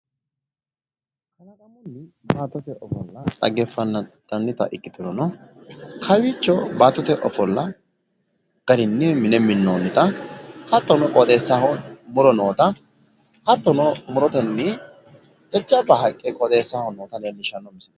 Baattote ofola dhaggefantannitta ikkiturono tini base mine amade noottanna jajjabba heqqe mineho qoxxeesasi rabbe doyisite amade nootta leelishano